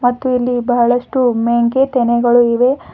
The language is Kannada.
ಮತ್ತು ಇಲ್ಲಿ ಬಹಳಷ್ಟು ಮೆಂಕೆ ತೆನೆಗಳು ಇವೆ.